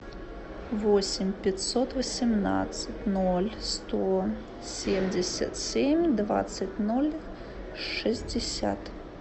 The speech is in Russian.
восемь пятьсот восемнадцать ноль сто семьдесят семь двадцать ноль шестьдесят